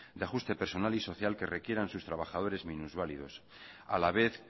de ajuste personal y social que requieran sus trabajadores minusválidos a la vez